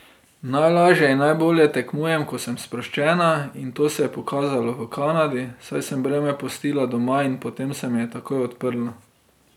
Najlažje in najbolje tekmujem, ko sem sproščena, in to se je pokazalo v Kanadi, saj sem breme pustila doma in potem se mi je takoj odprlo.